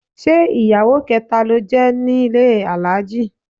Ṣé ìyàwó kẹta ló jẹ́ nílé Alhaji?